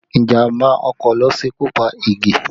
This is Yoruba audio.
Ìjàmbá ọkọ̀ ló ṣekú pa Ige